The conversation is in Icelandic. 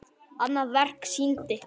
Annað verkið sýndi